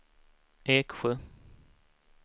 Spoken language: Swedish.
Eksjö